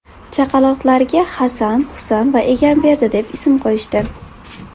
Chaqaloqlarga Hasan, Husan va Egamberdi deb ism qo‘yishdi.